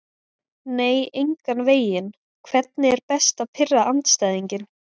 nei engan veginn Hvernig er best að pirra andstæðinginn?